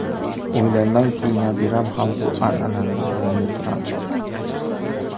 O‘ylaymanki, nabiram ham bu an’anani davom ettiradi.